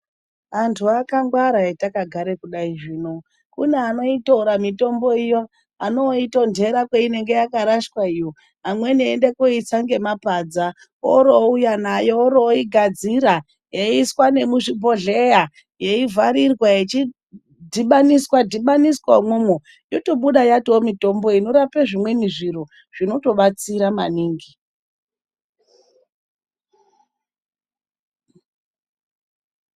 Anhtu akangwara etakagare kudai zvino. Kune anoitora mitombo iyo anoitonhtera kwainenge yakarashwa iyo. Amweni oende ondoitsa ngemapadza ogadzira oro ouya nayo oro oigadzira eyiisa nemuzvibhodhlera, yeivharirwa yechidhibaniswa dhibaniswa imomo. Yotobuda yatova mitombo inorape zvimweni zviro zvinotobatsira maningi.